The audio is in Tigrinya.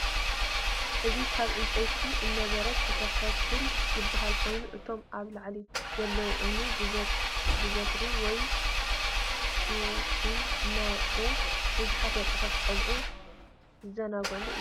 እዚ ካብ ዕንፀይቲን እምነበረድን ዝተሰርሐ ፑል ዝበሃል ኮይኑ እቶም አብ ላዕሊ ዘለው እምኒ ብበትሪ ወይ ስቲክን እናወቅዑ ብዙሐት ወጣትን ቆልዑን ዝዛናግዕሉ እዩ